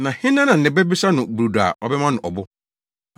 “Na hena na ne ba bisa no brodo a ɔbɛma no ɔbo?